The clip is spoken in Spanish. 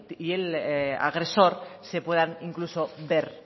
y el agresor se puedan incluso ver